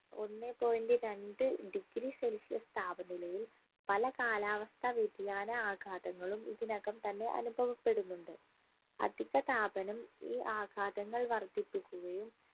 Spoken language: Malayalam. ഒന്നേ point രണ്ട് degree celsius താപനിലയിൽ പല കാലാവസ്ഥാ വ്യതിയാന ആഘാതങ്ങളും ഇതിനകം തന്നെ അനുഭവപ്പെടുന്നുണ്ട് അധിക താപനം ഈ ആഘാതങ്ങൾ വർധിപ്പിക്കുകയും